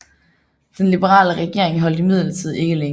Den liberale regering holdt imidlertid ikke længe